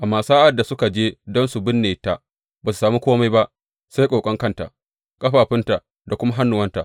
Amma sa’ad da suka je don su binne ta, ba su sami kome ba sai ƙoƙon kanta, ƙafafunta da kuma hannuwanta.